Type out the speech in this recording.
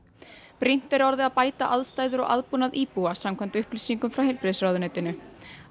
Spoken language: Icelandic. brýnt er orðið að bæta aðstæður og aðbúnað íbúa samkvæmt upplýsingum frá heilbrigðisráðuneytinu á